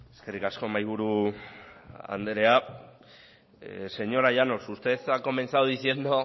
eskerrik asko mahaiburu anderea señora llanos usted ha comenzado diciendo